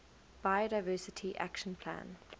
biodiversity action plan